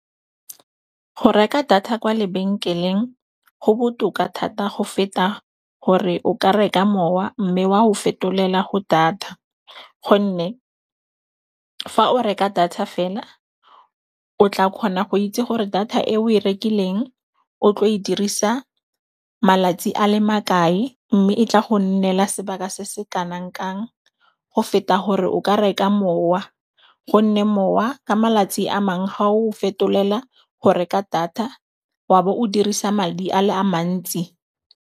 Go reka data kwa lebenkeleng go botoka thata go feta gore o ka reka mowa mme wa o fetolela go data, gonne fa o reka data fela o tla kgona go itse gore data e o e rekileng o tlo e dirisa malatsi a le makae mme e tla go nnela sebaka se se kanang kang go feta gore o ka reka mowa. Go nne mowa ka malatsi a mangwe ga o fetolela go reka data wa bo o dirisa madi a le a mantsi.